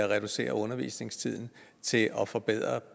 reducerer undervisningstiden til at forbedre